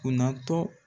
Kunnatɔ